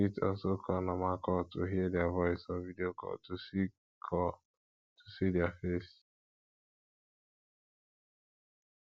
you fit also call normal call to hear their voice or video call to see call to see their face